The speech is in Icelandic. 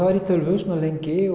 var ég duglegur bara lengi